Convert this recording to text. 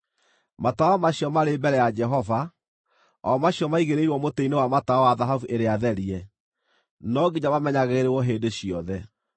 Matawa macio marĩ mbere ya Jehova, o macio maigĩrĩirwo mũtĩ-inĩ wa matawa wa thahabu ĩrĩa therie no nginya mamenyagĩrĩrwo hĩndĩ ciothe.